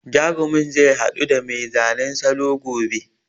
Jarumin zai haɗu da mai zanen salo gobe.